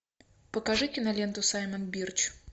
покажи киноленту саймон бирч